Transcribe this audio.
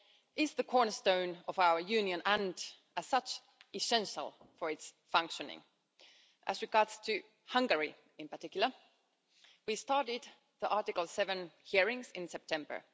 law is the cornerstone of our Union and, as such, essential for its functioning. As regards Hungary in particular, we started the Article 7 hearings in September.